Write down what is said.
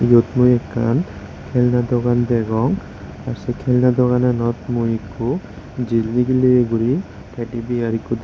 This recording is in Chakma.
yot mui ekkan kelna dogan degong tey sey kelna dogananot mui ikko jil nigilley guri teydi biar ikko dey.